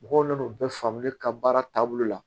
Mɔgɔw nan'o bɛɛ faamu ne ka baara taabolo la